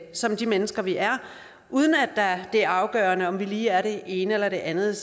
som de mennesker vi er uden at det er afgørende om vi lige er det ene eller det andet